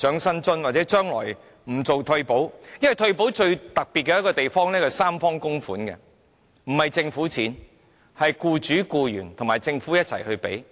因為全民退保方案最特別的地方是三方供款，不是純粹用政府的錢，而是僱主、僱員和政府一起供款。